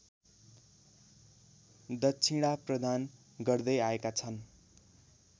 दक्षिणाप्रदान गर्दै आएका छन्